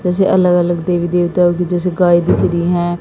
जैसे अलग अलग देवी देवताओं की जैसे गाय दिख रहीं हैं।